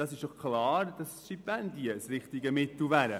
Es ist klar, dass Stipendien das richtige Mittel dazu wären.